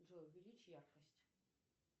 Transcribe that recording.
джой увеличь яркость